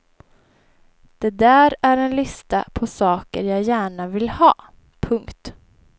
Det där är en lista på saker jag gärna vill ha. punkt